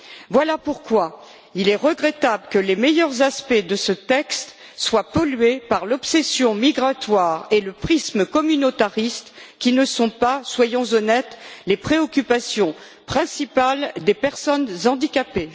Voilà pourquoi il est regrettable que les meilleurs aspects de ce texte soient pollués par l'obsession migratoire et le prisme communautariste, qui ne sont pas soyons honnêtes les préoccupations principales des personnes handicapées.